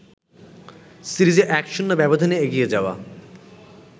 সিরিজে ১-০ ব্যবধানে এগিয়ে যাওয়া